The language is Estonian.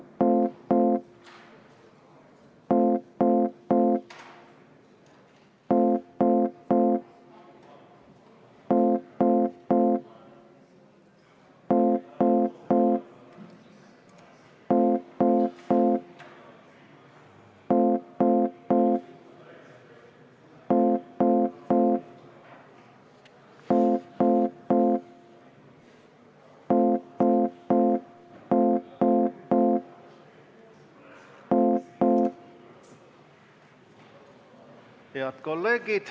Head kolleegid!